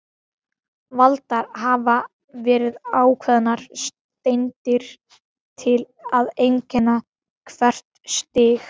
Valdar hafa verið ákveðnar steindir til að einkenna hvert stig.